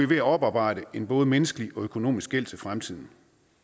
ved at oparbejde en både menneskelig og økonomisk gæld til fremtiden